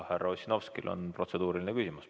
Härra Ossinovskil on protseduuriline küsimus.